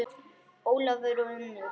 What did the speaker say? Ólafur og Unnur.